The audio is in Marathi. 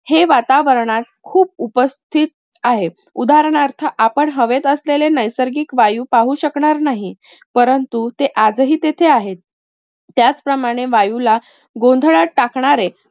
हे वातावरणात खूप उपस्थित आहे. उदाहरणार्थ आपण हवेत असलेले नैसर्गिक वायू पाहू शकणार नाही. परंतु ते आजही तेथे आहेत. त्याचप्रमाणे वायूला गोंधळात टाकणारे